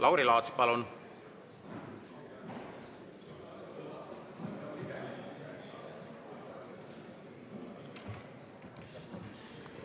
Lauri Laats, palun!